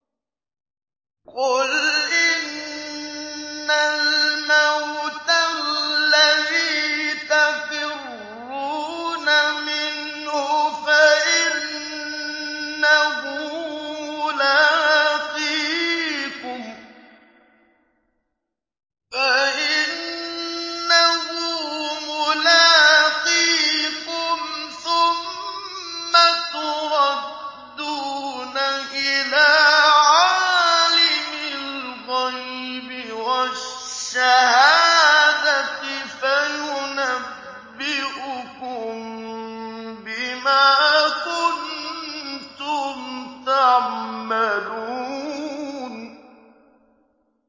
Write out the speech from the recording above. قُلْ إِنَّ الْمَوْتَ الَّذِي تَفِرُّونَ مِنْهُ فَإِنَّهُ مُلَاقِيكُمْ ۖ ثُمَّ تُرَدُّونَ إِلَىٰ عَالِمِ الْغَيْبِ وَالشَّهَادَةِ فَيُنَبِّئُكُم بِمَا كُنتُمْ تَعْمَلُونَ